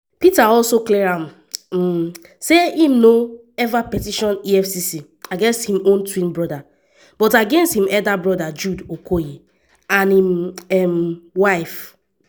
peter also clear am um say im no ever petition efcc against im twin brother but against im elder brother jude okoye and im um wife.